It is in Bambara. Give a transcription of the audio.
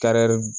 Kari